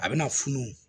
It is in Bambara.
A bɛna funu